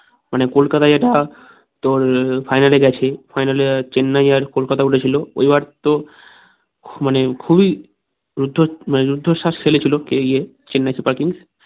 মানে কোনখানে এটা তোর final এ গেছে final এ চেন্নাই আর কলকাতা উঠেছিল এবার তো মানে খুবই উর্ধ মানে উর্ধশ্বাস ফেলেছিলো পেয়েগিয়ে চেন্নাই সুপার কিংস